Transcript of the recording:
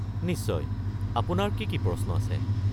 নিশ্চয়, আপোনাৰ কি কি প্ৰশ্ন আছে?